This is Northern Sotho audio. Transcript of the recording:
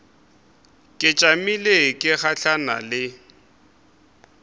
ke tšamile ke gahlana le